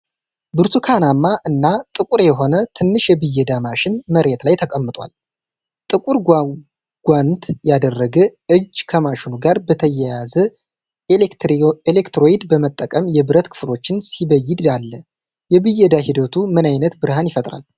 ብርቱካናማ እና ጥቁር የሆነ ትንሽ የብየዳ ማሽን መሬት ላይ ተቀምጧል። ጥቁር ጓንት ያደረገ እጅ ከማሽኑ ጋር በተያያዘ ኤሌክትሮድ በመጠቀም የብረት ክፍሎችን ሲበየድ አለ፤ የብየዳ ሂደቱ ምን ዓይነት ብርሃን ይፈጥራል?